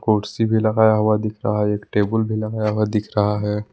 कुर्सी भी लगाया हुआ दिख रहा है एक टेबुल भी लगाया हुआ दिख रहा है।